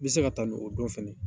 N mi se ka tanu o don fɛnɛ .